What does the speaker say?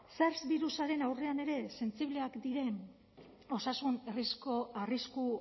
ze birusaren aurrean ere sentsibleak diren osasun arrisku